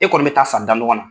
E kɔni bɛ t'a san danɔgɔn na.